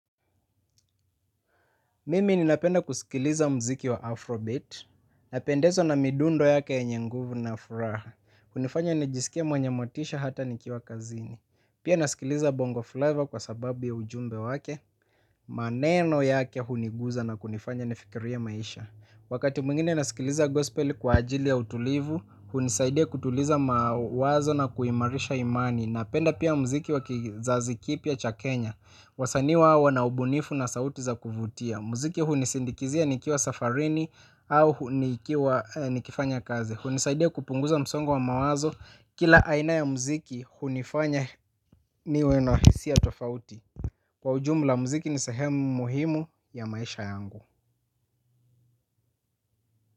Mimi ninapenda kusikiliza muziki wa Afrobeat, napendezwa na midundo yake ya nguvu na furaha, hunifanya nijisikie na motisha hata nikiwa kazini. Pia nasikiliza Bongo Flava kwa sababu ya ujumbe wake, maneno yake hunigusa na kunifanya nifikirie maisha. Wakati mwingine nasikiliza gospel kwa ajili ya utulivu, hunisaidia kutuliza mawazo na kuimarisha imani. Napenda pia muziki wa kizazi kipya cha Kenya. Wasanii hawa wana ubunifu na sauti za kuvutia. Muziki hunisindikiza nikiwa safarini. Au nikifanya kazi, hunisaidia kupunguza msongo wa mawazo. Kila aina ya muziki hunifanya niwe na hisia tofauti. Kwa ujumla muziki ni sahemu muhimu ya maisha yangu.